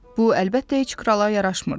Bu, əlbəttə, heç krala yaraşmırdı.